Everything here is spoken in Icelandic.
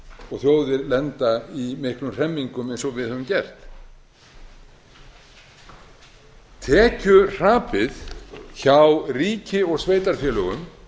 og þjóðir lenda í miklum hremmingum eins og við höfum gert tekjuhrapið hjá ríki og sveitarfélögum